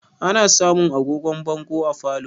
Ana samun agogon bongo a falo